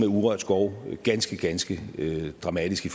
urørt skov ganske ganske dramatisk i